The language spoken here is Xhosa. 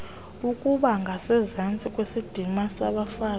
ukubangasezantsi kwesidima sabafazi